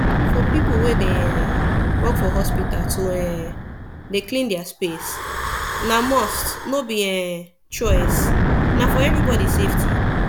for people wey dey um work for hospital to um dey clean their place na must no be um choice na for everybody safety